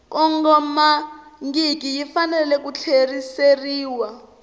kongomangiki yi fanele ku tlheriseriwa